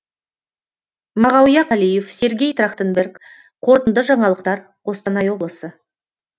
мағауия қалиев сергей трахтенберг қорытынды жаңалықтар қостанай облысы